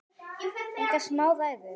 Engar smá ræður!